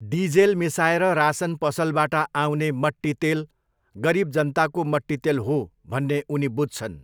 Diesel मिसाएर रासन पसलबाट आउने मट्टितेल 'गरिब जनताको मट्टितेल हो' भन्ने उनी बुझ्छन्।